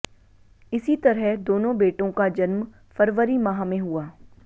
इसी तरह दोनों बेटों का जन्म फरवरी माह में हुआ